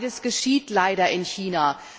Beides geschieht leider in China.